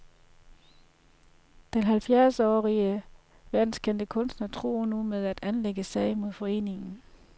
Den halvfjerdsårige verdenskendte kunstner truer nu med at anlægge sag mod foreningen.